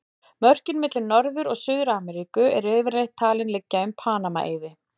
Mörkin milli Norður- og Suður-Ameríku eru yfirleitt talin liggja um Panama-eiði.